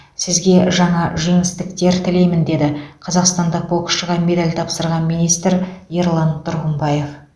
сізге жаңа жеңістіктер тілеймін деді қазақстандық боксшыға медаль тапсырған министр ерлан тұрғымбаев